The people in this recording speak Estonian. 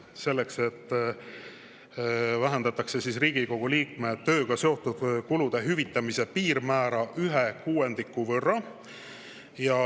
Selleks vähendatakse Riigikogu liikme tööga seotud kulude hüvitamise piirmäära ühe kuuendiku võrra.